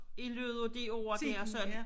I løbet af de år der sådan